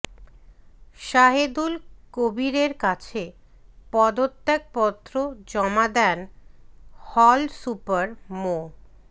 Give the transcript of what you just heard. সাহেদুল কবীরের কাছে পদত্যাগ পত্র জমা দেন হল সুপার মো